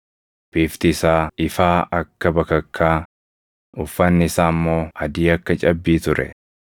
Bifti isaa ifaa akka bakakkaa, uffanni isaa immoo adii akka cabbii ture.